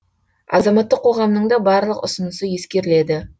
азаматтық қоғамның да барлық ұсынысы ескеріледі